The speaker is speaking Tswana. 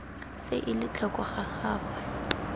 se ele tlhoko ga gagwe